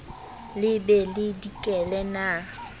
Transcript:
le be le dikele na